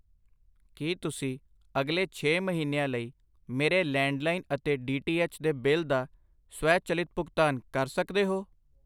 ਕੀ ਤੁਸੀਂ ਅਗਲੇ ਛੇ ਮਹੀਨਿਆਂ ਲਈ ਮੇਰੇ ਲੈਂਡਲਾਈਨ ਅਤੇ ਡੀ ਟੀ ਐਚ ਦੇ ਬਿੱਲ ਦਾ ਸਵੈਚਲਿਤ ਭੁਗਤਾਨ ਕਰ ਸਕਦੇ ਹੋ?